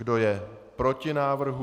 Kdo je proti návrhu?